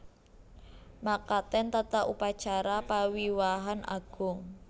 Mekaten tata upacara pawiwahan agung